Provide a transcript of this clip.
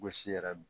Gosi yɛrɛ